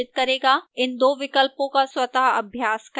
इन दो विकल्पों का स्वतः अभ्यास करें